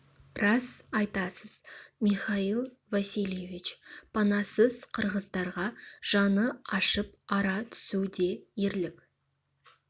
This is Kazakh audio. рас айтасыз михаил васильевич панасыз қырғыздарға жаны ашып ара түсу де ерлік